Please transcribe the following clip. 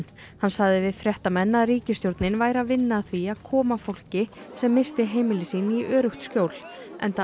hann sagði við fréttamenn að ríkisstjórnin væri að vinna að því að koma fólki sem missti heimili sín í öruggt skjól enda